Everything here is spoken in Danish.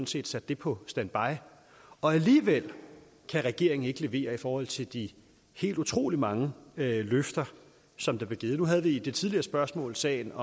set sat det på standby alligevel kan regeringen ikke levere i forhold til de helt utrolig mange løfter som der blev givet nu havde vi i det tidligere spørgsmål sagerne